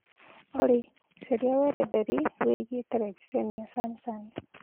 olly Carĩa weretheri wĩigĩe terebĩcenĩ ya Samsung